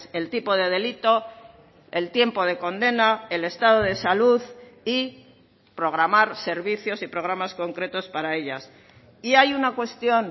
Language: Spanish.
el tipo de delito el tiempo de condena el estado de salud y programar servicios y programas concretos para ellas y hay una cuestión